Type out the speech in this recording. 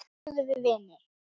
Seinna urðum við vinir.